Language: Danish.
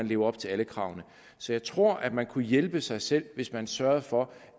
lever op til alle kravene så jeg tror man kunne hjælpe sig selv hvis man sørgede for